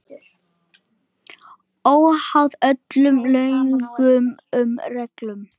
Óháð öllum lögum og reglum.